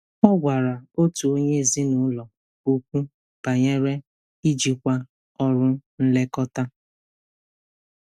Ọ gwara otu onye ezinụlọ okwu banyere ijikwa ọrụ nlekọta.